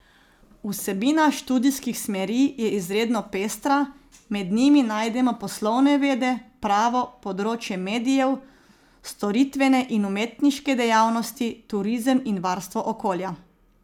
Vsebina študijskih smeri je izredno pestra, med njimi najdemo poslovne vede, pravo, področje medijev, storitvene in umetniške dejavnosti, turizem in varstvo okolja.